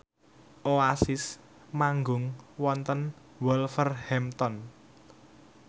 Oasis manggung wonten Wolverhampton